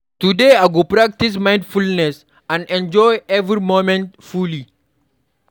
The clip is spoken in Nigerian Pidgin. Today, I go practice mindfulness and enjoy every moment fully.